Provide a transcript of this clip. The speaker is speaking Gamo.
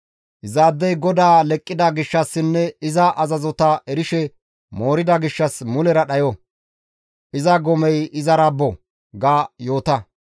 Izaadey GODAA leqqida gishshassinne iza azazota erishe moorida gishshas mulera dhayo; iza gomey izara bo› ga yoota.»